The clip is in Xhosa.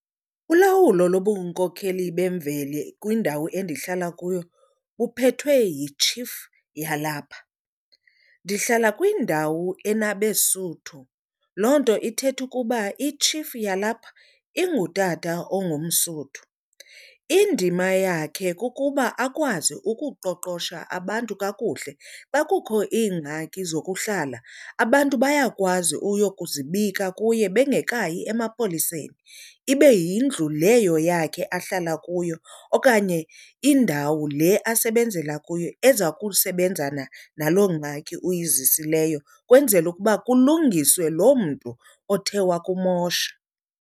Ulawulo lobunkokheli bemveli kwindawo endihlala kuyo buphethwe yi-chief yalapha. Ndihlala kwindawo enabeSuthu, loo nto ithetha ukuba i-chief yalapha ingutata ongumSuthu. Indima yakhe kukuba akwazi ukuqoqosha abantu kakuhle. Xa kukho iingxaki zokuhlala abantu bayakwazi uyokuzibika kuye bengekayi emapoliseni. Ibe yindlu leyo yakhe ahlala kuyo okanye indawo le asebenzela kuyo eza kusebenzana naloo ngxaki uyizisileyo kwenzela ukuba kulungiswe loo mntu othe wakumosha.